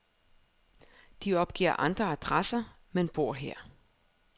De opgiver andre adresser, men bor her.